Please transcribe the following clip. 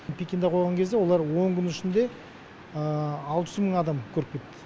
пекинда қойған кезде олар он күннің ішінде алты жүз мың адам көріп кетті